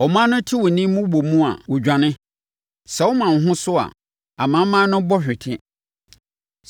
Aman no te wo nne mmobɔmu a, wɔdwane; sɛ woma wo ho so a, amanaman no bɔ hwete.